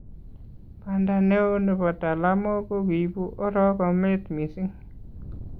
banda neoo nebo talamok kokiibu orogrnet mising